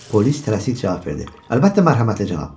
Polis tələsik cavab verdi: Əlbəttə, mərhəmətli cənab.